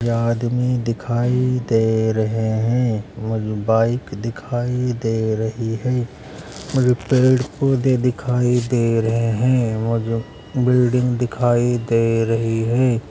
यहाँ आदमी दिखाई दे रहे हैं और बाइक दिखाई दे रही है और पेड़-पौधे दिखाई दे रहे हैं और बिल्डिंग दिखाई दे रही है।